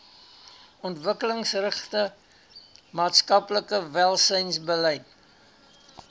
ontwikkelingsgerigte maatskaplike welsynsbeleid